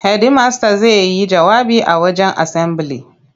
Hedimasta zai yi jawabi a wajen asambili.